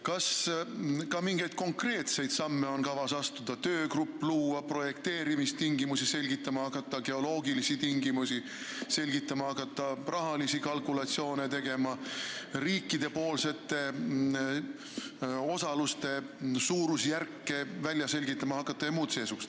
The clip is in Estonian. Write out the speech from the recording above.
Kas on kavas ka mingeid konkreetseid samme astuda – luua töögrupp, hakata välja selgitama projekteerimis- ja geoloogilisi tingimusi, hakata tegema rahalisi kalkulatsioone ja välja selgitama riikide osaluste suurusjärke jms?